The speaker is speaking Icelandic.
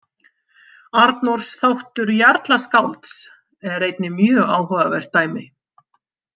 Arnórs þáttur jarlaskálds er einnig mjög áhugavert dæmi.